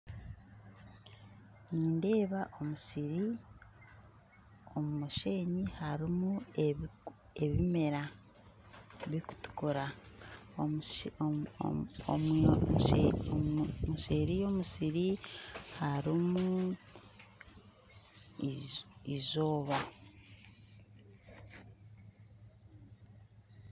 Nindeeba omusiri omu musheenyi harumu ebimera bikutukura nseri yomusiri harumu eizooba